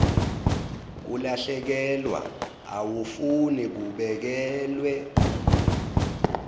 kulahlekelwa awufuni kubekelwe